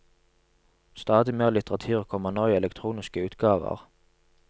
Stadig mer litteratur kommer nå i elektroniske utgaver.